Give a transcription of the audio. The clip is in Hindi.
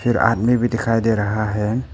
फिर आदमी भी दिखाई दे रहा है।